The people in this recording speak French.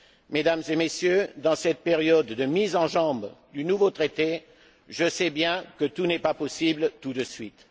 Mesdames et Messieurs, dans cette période de mise en jambes du nouveau Traité, je sais bien que tout n'est pas possible tout de suite.